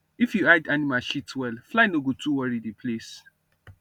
if you hide animal shit well fly no go too worry the place